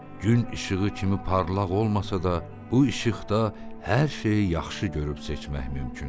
Gün işığı kimi parlaq olmasa da bu işıqda hər şeyi yaxşı görüb seçmək mümkündür.